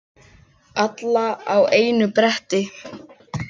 Alla á einu bretti.